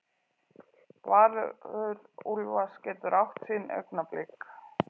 Valur Úlfars getur átt sín augnablik